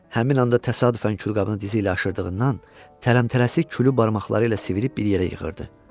Həmin anda təsadüfən külqabını dizi ilə aşırdığından tələmtələsi külü barmaqları ilə sıvırıb bir yerə yığırdı.